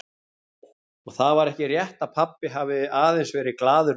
Og það var ekki rétt að pabbi hafi aðeins verið glaður maður.